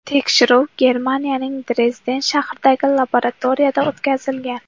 Tekshiruv Germaniyaning Drezden shahridagi laboratoriyada o‘tkazilgan.